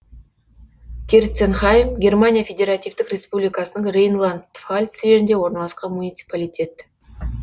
керценхайм германия федеративтік республикасының рейнланд пфальц жерінде орналасқан муниципалитет